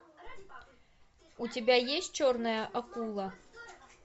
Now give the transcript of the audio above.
у тебя есть черная акула